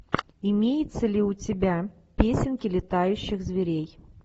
имеется ли у тебя песенки летающих зверей